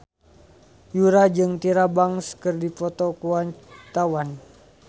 Yura jeung Tyra Banks keur dipoto ku wartawan